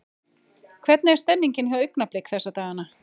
Hvernig er stemmningin hjá Augnablik þessa dagana?